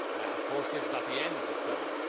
Of course, this is not the end of the story.